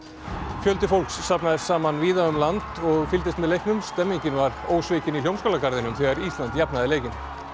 fjöldi fólks safnaðist saman víða um land og fylgdist með leiknum stemningin var ósvikin í Hljómaskálagarðinum þegar Ísland jafnaði leikinn